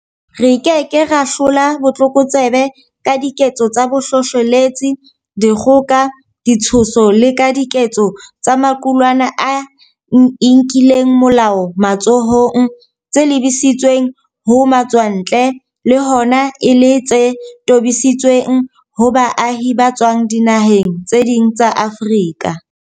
Re ke ke ra hlola botlokotsebe ka diketso tsa bohlohleletsi, dikgoka, ditshoso le ka diketso tsa maqulwana a inkelang molao matsohong tse lebisitsweng ho matswantle, le hona e le tse tobisitsweng ho baahi ba tswang dinaheng tse ding tsa Afrika.